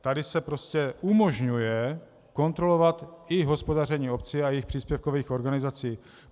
Tady se prostě umožňuje kontrolovat i hospodaření obcí a jejich příspěvkových organizací.